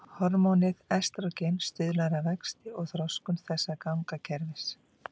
Hormónið estrógen stuðlar að vexti og þroskun þessa gangakerfis.